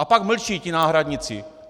A pak mlčí, ti náhradníci.